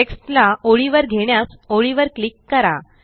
text ला ओळीवर घेण्यास ओळीवर क्लिक करा